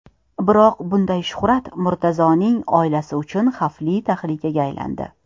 Biroq bunday shuhrat Murtazoning oilasi uchun xavfli tahlikaga aylandi.